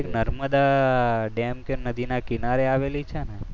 Narmada dam કે નદીના કિનારે આવેલી છે ને?